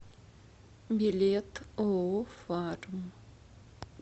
билет ооо фарм